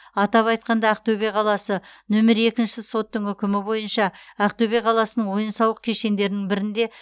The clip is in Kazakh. атап айтқанда ақтөбе қаласы нөмір екінші соттың үкімі бойынша ақтөбе қаласының ойын сауық кешендерінің бірінде